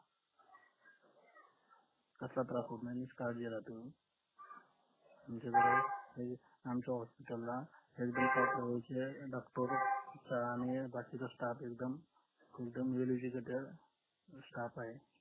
कसला त्रास होत नाही निष्काळजी रहा तुम्ही आमच्या hospital ला doctor आणि बाकीचा staff एकदम staff आहे